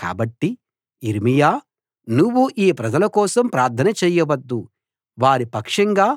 కాబట్టి యిర్మీయా నువ్వు ఈ ప్రజల కోసం ప్రార్థన చేయవద్దు వారి పక్షంగా